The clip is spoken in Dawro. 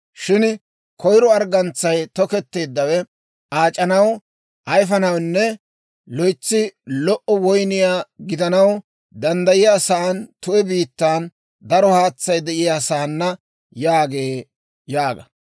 Shin koyro arggantsay toketteeddawe aac'anaw, ayifanawunne loytsi lo"o woyniyaa gidanaw danddayiyaasan, tu'e biittan, daro haatsay de'iyaasaana» yaagee› yaaga.